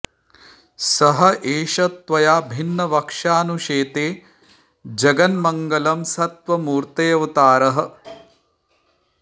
स एष त्वया भिन्नवक्षा नु शेते जगन्मङ्गलं सत्त्वमूर्तेऽवतारः